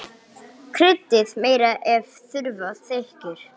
Kryddið meira ef þurfa þykir.